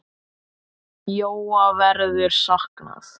Jóa verður saknað.